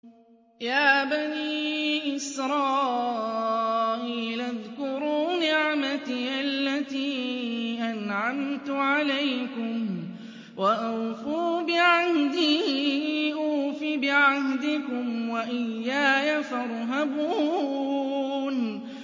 يَا بَنِي إِسْرَائِيلَ اذْكُرُوا نِعْمَتِيَ الَّتِي أَنْعَمْتُ عَلَيْكُمْ وَأَوْفُوا بِعَهْدِي أُوفِ بِعَهْدِكُمْ وَإِيَّايَ فَارْهَبُونِ